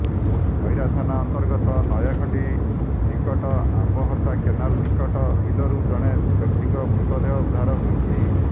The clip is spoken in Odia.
ଖଇରା ଥାନା ଅର୍ନ୍ତଗତ ନୟାଖଣ୍ଡି ନିକଟ ଆମ୍ବହତା କେନାଲ ନିକଟ ବିଲରୁ ଜଣେ ବ୍ୟକ୍ତିଙ୍କ ମୃତଦେହ ଉଦ୍ଧାର ହୋଇଛି